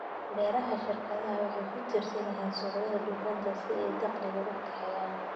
Beeraha shirkadu waxay ku tiirsan yihiin suuqyada dhoofinta si ay dakhli u kaxeeyaan.